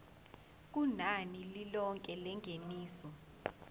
kunani lilonke lengeniso